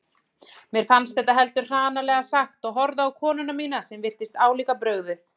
Mér fannst þetta heldur hranalega sagt og horfði á konuna mína sem virtist álíka brugðið.